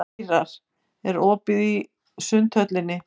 Ýrar, er opið í Sundhöllinni?